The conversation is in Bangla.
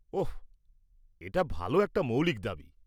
ওঃ, এটা ভালো একটা মৌলিক দাবী।